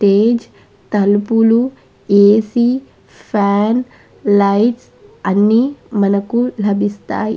ఏది తలుపు AC fan light అని మనకు లభిస్తాయ్.